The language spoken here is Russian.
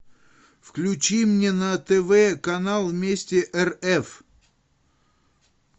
включи мне на тв канал вместе рф